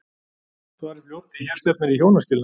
Svarið fljótt því hér stefnir í hjónaskilnað!